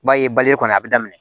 I b'a ye kɔni a bi daminɛ